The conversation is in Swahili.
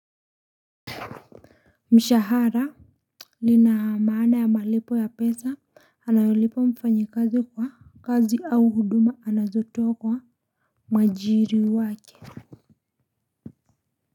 Mshahara lina maana ya malipo ya pesa anayolipwa mfanyikazi kwa kazi au huduma anazotoa kwa mwajiri wake.